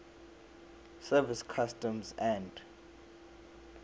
service customs and